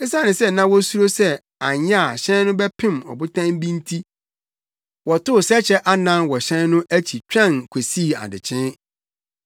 Esiane sɛ na wosuro sɛ anyɛ a hyɛn no bɛpem ɔbotan bi nti wɔtoo sɛkyɛ anan wɔ hyɛn no akyi twɛn kosii adekyee.